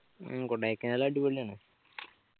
ഉം കൊടയ്ക്കനാൽ അടിപൊളിയാണ്